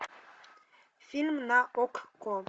фильм на окко